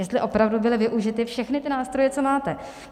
Jestli opravdu byly využity všechny ty nástroje, co máte.